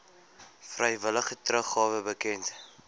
vrywillige teruggawe bekend